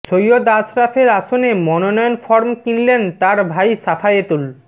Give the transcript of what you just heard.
সৈয়দ আশরাফের আসনে মনোনয়ন ফরম কিনলেন তার ভাই শাফায়েতুল